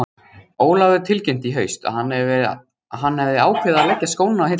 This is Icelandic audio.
Ólafur tilkynnti í haust að hann hefði ákveðið að leggja skóna á hilluna.